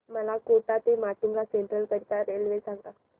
मला कोटा ते माटुंगा सेंट्रल करीता रेल्वे सांगा